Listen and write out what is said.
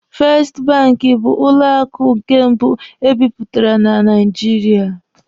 Festi banki bụ banki mbụ e bidoro na Naijiria.